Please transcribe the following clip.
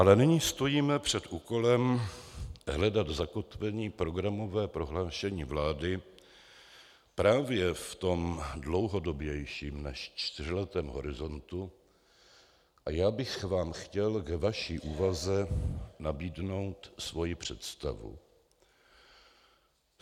Ale nyní stojíme před úkolem hledat zakotvení programového prohlášení vlády právě v tom dlouhodobějším než čtyřletém horizontu a já bych vám chtěl ve vaší úvaze nabídnout svoji představu.